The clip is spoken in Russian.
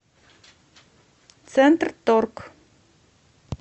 центрторг